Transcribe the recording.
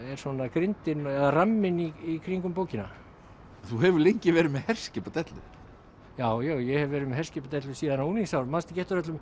grindin eða ramminn í kringum bókina þú hefur lengi verið með herskipadellu já ég hef verið með herskipadellu síðan á unglingsárum manstu ekki eftir öllum